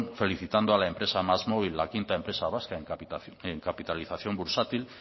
felicitando a la empresa másmóvil la quinta empresa vasca en capitalización bursátil